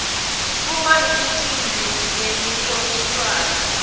kuba imicimbi yemiholiswano